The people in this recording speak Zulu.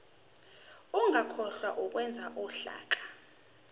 ungakhohlwa ukwenza uhlaka